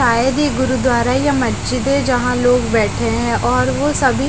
शायद यह गुरुद्वारा या मस्जिद है जहाँ लोग बैठे है और वो सभी--